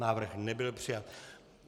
Návrh nebyl přijat.